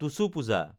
Tusu Puja